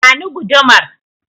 Ba ni gudumar!